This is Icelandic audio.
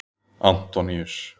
Antoníus